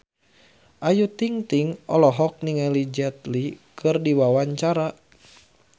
Ayu Ting-ting olohok ningali Jet Li keur diwawancara